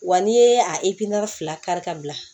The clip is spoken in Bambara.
Wa n'i ye a fila kari ka bila